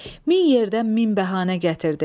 Min yerdən min bəhanə gətirdi.